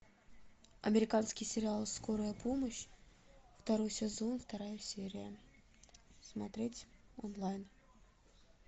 американский сериал скорая помощь второй сезон вторая серия смотреть онлайн